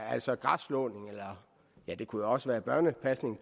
altså græsslåning eller det kunne også være børnepasning